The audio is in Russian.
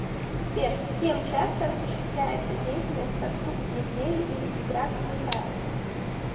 сбер кем часто осуществляется деятельность по скупке изделий из драгметаллов